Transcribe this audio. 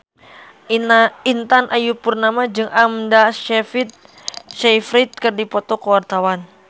Intan Ayu Purnama jeung Amanda Sayfried keur dipoto ku wartawan